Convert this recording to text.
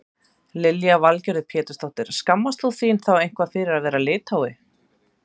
Lillý Valgerður Pétursdóttir: Skammast þú þín þá eitthvað fyrir að vera Lithái?